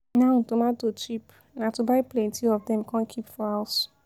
Now tomato cheap, na to buy plenty of dem come keep for house.